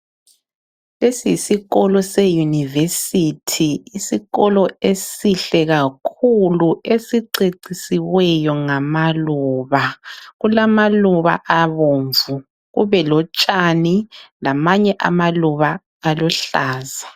Lesi yisikolo se university yisikolo esihle kakhulu esicecisiweyo ngamaluba, kulama luba abomvu kubelotshani lamanye amaluba aluhlaza